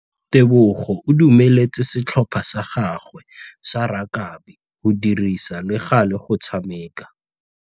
Tebogô o dumeletse setlhopha sa gagwe sa rakabi go dirisa le galê go tshameka.